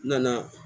N nana